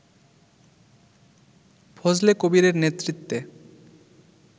ফজলে কবীরের নেতৃত্বে